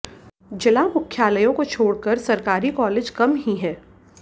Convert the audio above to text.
जिला मुख्यायलयों को छॊड़कर सरकारी कालेज कम ही हैं